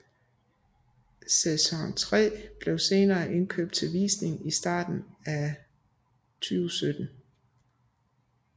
Sæson 3 blev senere indkøbt til visning i starten af 2017